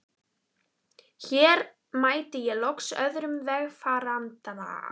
Hér mæti ég loks öðrum vegfaranda.